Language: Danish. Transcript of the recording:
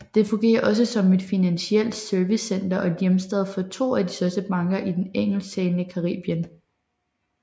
Den fungerer også som et financielt servicecenter og er hjemstad for to af de største banker i det engelsktalende Caribien